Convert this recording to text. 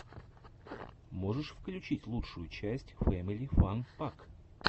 можешь включить лучшую часть фэмили фан пак